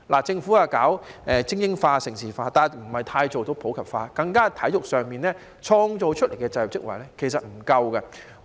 政府搞精英化、盛事化，但不太能做到普及化，在體育上創造的就業職位不足。